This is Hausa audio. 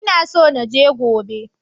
Ina so na je gobe.